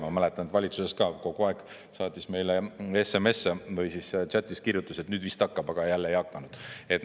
Ma mäletan, et valitsuses ka kogu aeg saatis meile SMS-e või siis chat'is kirjutas, et nüüd vist hakkab, aga jälle ei hakanud.